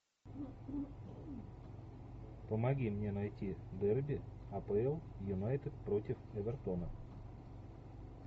помоги мне найти дерби апл юнайтед против эвертона